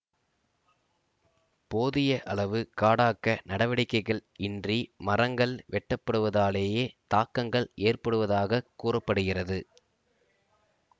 போதிய அளவு காடாக்க நடவடிக்கைகள் இன்றி மரங்கள் வெட்டப்படுவதாலேயே தாக்கங்கள் ஏற்படுவதாகக் கூற படுகிறது